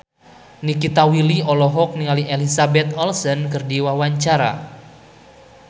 Nikita Willy olohok ningali Elizabeth Olsen keur diwawancara